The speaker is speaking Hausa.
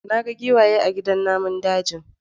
Na ga giwaye a gidan namun daji.